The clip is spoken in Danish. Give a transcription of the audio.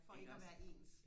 for ikke og være ens